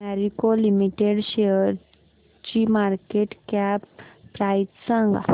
Marico limited शेअरची market cap price सांगा